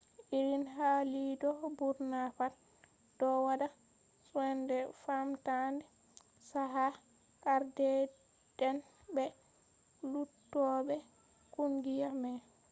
irin hali'do burna pat do wadda soinde famtande chaka ardeede'en be luttube kungiya mai